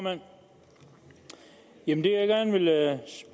en